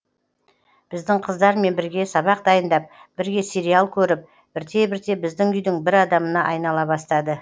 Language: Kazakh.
біздің қыздармен бірге сабақ дайындап бірге сериал көріп бірте бірте біздің үйдің бір адамына айнала бастады